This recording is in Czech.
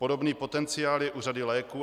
Podobný potenciál je u řady léků.